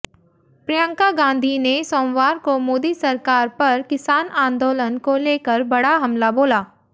प्रियंका गांधी ने सोमवार को मोदी सरकार पर किसान आंदोलन को लेकर बड़ा हमला बोला